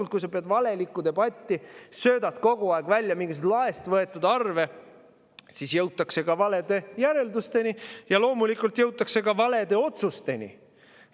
Ja kui sa pead valelikku debatti, kogu aeg välja mingisuguseid laest võetud arve, siis jõutakse ka valedele järeldustele ja loomulikult ka valedele otsustele.